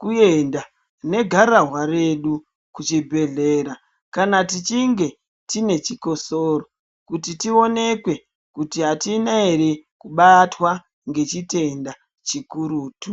kuenda negararwa redu kuchibhedhlera kana tichinge tinechikosoro kuti tionekwe kuti atina ere kubatwa ngechitenda chikurutu.